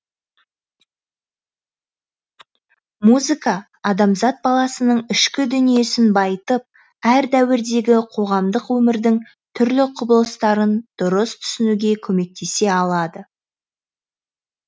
музыка адамзат баласының ішкі дүниесін байытып әр дәуірдегі қоғамдық өмірдің түрлі құбылыстарын дұрыс түсінуге көмектесе алады